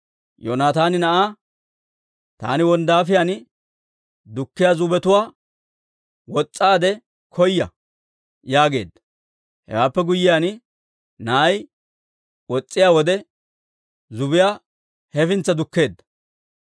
Yoonataani na'aa, «Taani wonddaafiyaan dukkiyaa zubbetuwaa wos's'aade koya» yaageedda; hewaappe guyyiyaan na'ay wos's'iyaa wode, zubbiyaa hefintsa dukkeedda.